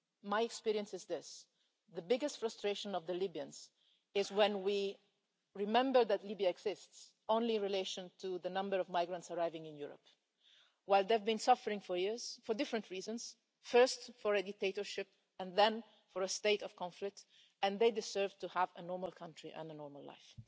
My experience is this the biggest frustration of the Libyans is when we remember that Libya exists only in relation to the number of migrants arriving in Europe, whereas they've been suffering for years, for different reasons first because of a dictatorship and then because of a state of conflict, and they deserve to have a normal country and a normal life.